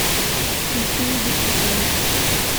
включи не беспокоить